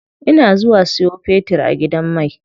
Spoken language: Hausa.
Ina zuwa siyo fetir a gidan mai.